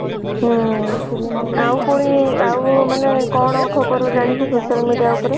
ହୁଁ ଆଉ ପୁଣି ଆଉ ମାନେ କଣ ଖବର ଜାଣିଛ social media ଉପରେ?